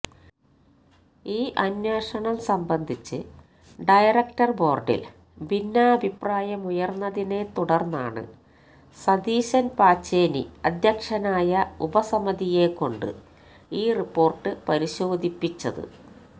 ഈ അന്വേഷണം സംബന്ധിച്ച് ഡയറക്ടര് ബോര്ഡില് ഭിന്നാഭിപ്രായമുയര്ന്നതിനെത്തുടര്ന്നാണ് സതീശന് പാച്ചേനി അധ്യക്ഷനായ ഉപസമിതിയെക്കൊണ്ട് ഈ റിപ്പോര്ട്ട് പരിശോധിപ്പിച്ചത്